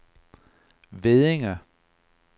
Veddinge